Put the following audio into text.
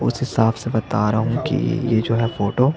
उस हिसाब से बता रहा हूँ की ये जो है फोटो --